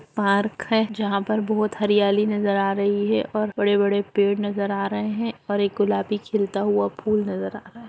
Park है जहाँ पर बहुत हरियाली नज़र आ रही है और बड़े-बड़े पेड़ नज़र आ रहे हैं और एक गुलाबी खिलता हुआ फुल नजर आ रहा है।